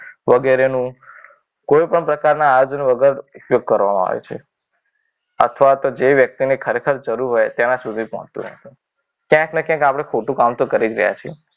વગેરેનું કોઈપણ પ્રકારના આયોજન વગર ઉપયોગ કરવામાં આવે છે. અથવા તો ખરેખર જે વ્યક્તિને તેની જરૂર હોય તેને તેના સુધી પહોંચતું નથી. ક્યાંક ને ક્યાંક આપણે ખોટું કામ તો કરી જ રહ્યા છીએ.